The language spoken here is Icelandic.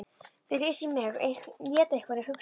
Þau lesa í mig, éta hverja hugsun.